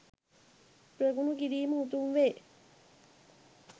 ප්‍රගුණ කිරීම උතුම් වේ.